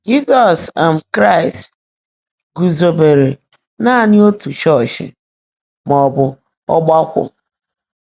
JỊ́ZỌ́S um KRÁỊST gúúzòòbéèré nàní ótú chọ́ọ́chị́ má ọ́ bụ́ ọ́gbákwọ́.